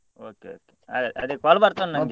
Okay okay ಅದೆ ಅದೆ call ಬರ್ತದ ನಂಗೆ .